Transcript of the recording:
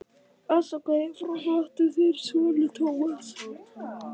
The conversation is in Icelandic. Ástarkveðjur frá flóttanum, þinn sonur Thomas.